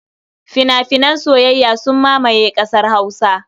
Fina-finan soyayya sun mamaye ƙasar Hausa.